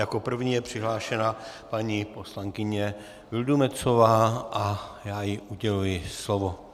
Jako první je přihlášena paní poslankyně Vildumetzová a já jí uděluji slovo.